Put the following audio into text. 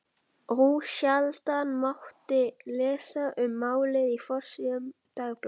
Ósjaldan mátti lesa um málið á forsíðum dagblaðanna.